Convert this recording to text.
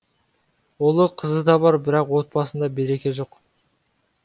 ұлы қызы да бар бірақ отбасында береке жоқ